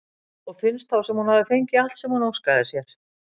Og finnst þá sem hún hafi fengið allt sem hún óskaði sér.